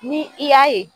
Ni i y'a ye